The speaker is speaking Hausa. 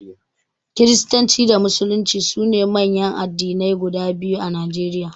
Kiristanci da Musulunci su ne manyan addinai guda biyu a Najeriya.